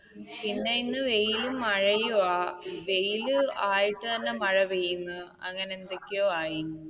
പിന്നെ ഇന്ന് വെയിലും മഴയുമാണ് വെയിൽ ആയിട്ട് തന്നെ മഴ പെയ്യുന്നു അങ്ങനെയെന്തൊക്കെയോ ആയി.